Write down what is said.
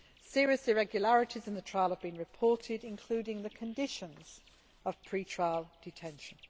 Serious irregularities in the trial have been reported, including the conditions of pre trial detention.